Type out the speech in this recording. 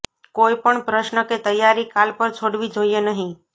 કોઇપણ પ્રશ્ન કે તૈયારી કાલ પર છોડવી જોઇએ નહી